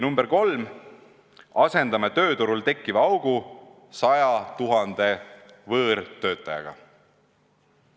Number 3, lapime tööturul tekkiva augu 100 000 võõrtöötajaga.